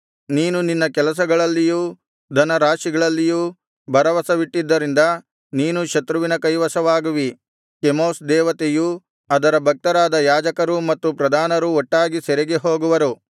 ನೀನು ನಿನ್ನ ಕೆಲಸಗಳಲ್ಲಿಯೂ ಧನರಾಶಿಗಳಲ್ಲಿಯೂ ಭರವಸವಿಟ್ಟದ್ದರಿಂದ ನೀನೂ ಶತ್ರುವಿನ ಕೈವಶವಾಗುವಿ ಕೆಮೋಷ್ ದೇವತೆಯೂ ಅದರ ಭಕ್ತರಾದ ಯಾಜಕರೂ ಮತ್ತು ಪ್ರಧಾನರೂ ಒಟ್ಟಾಗಿ ಸೆರೆಗೆ ಹೋಗುವರು